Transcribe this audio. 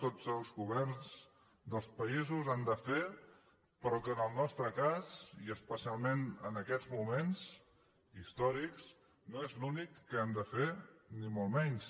tots els governs dels països ho han de fer però que en el nostre cas i especialment en aquests moments històrics no és l’únic que hem de fer ni molt menys